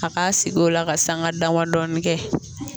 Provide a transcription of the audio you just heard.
A k'a sigi o la ka sanŋa dama dɔɔni kɛ.